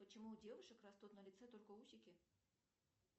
почему у девушек растут на лице только усики